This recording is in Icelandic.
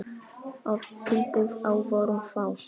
Oft tilboð, á vörum þá.